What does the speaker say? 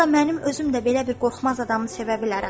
Hətta mənim özüm də belə bir qorxmaz adamı sevə bilərəm.